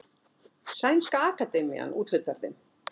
Sænska akademían úthlutar þeim.